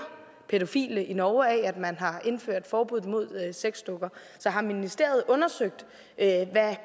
pædofile i norge af at man har indført forbud mod sexdukker så har ministeriet undersøgt hvad